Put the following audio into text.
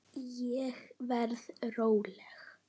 Ég verð róleg.